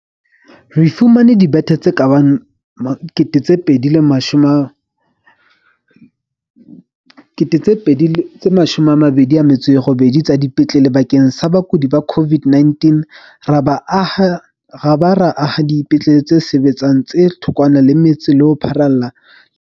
Re fumane dibethe tse ka bang 28 000 tsa dipetlele bakeng sa bakudi ba COVID-19 ra ba ra aha dipetlele tse sebetsang tse thokwana le metse ho pharalla le naha.